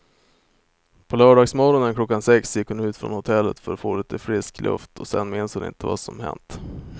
På lördagsmorgonen klockan sex gick hon ut från hotellet för att få lite frisk luft och sen minns hon inte vad som hänt.